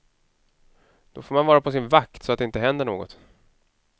Då får man vara på sin vakt, så att det inte händer något.